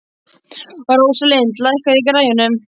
Rósalind, lækkaðu í græjunum.